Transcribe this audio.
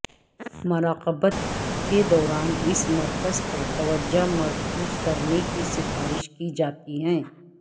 مراقبت کے دوران اس مرکز پر توجہ مرکوز کرنے کی سفارش کی جاتی ہے